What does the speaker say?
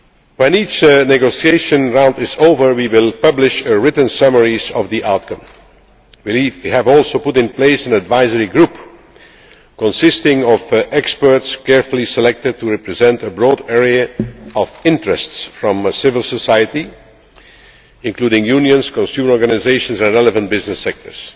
When each negotiation round is over, we will publish written summaries of the outcome. We have also put in place an advisory group, consisting of experts carefully selected to represent a broad array of interests from civil society, including unions, consumer organisations and relevant business sectors.